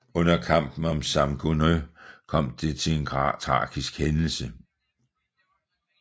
Under kamp om Samogneux kom til en tragisk hændelse